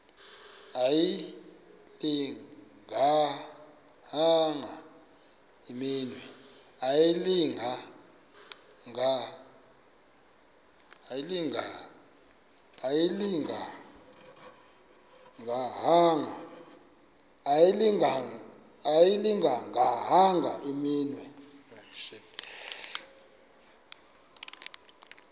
ayilinga gaahanga imenywe